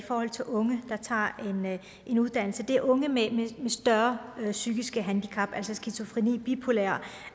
unge der tager en uddannelse og det er unge med større psykiske handicap altså skizofrene bipolære